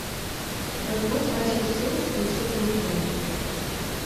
пусть консьерж сервис принесет мне фен